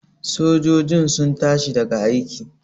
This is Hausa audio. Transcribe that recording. sojojin sun tashi daga aiki?